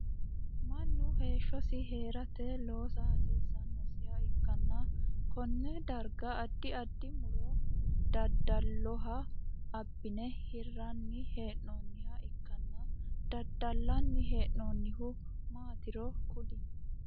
Mannu heeshosi heerate loossa hasiisanosiha ikanna konne darga addi addi muro dadaloho abine hiranni hee'noonniha ikkanna dadalanni hee'noonnihu maatiro kuli?